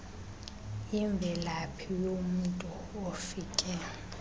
imvelaphi yomntu ofake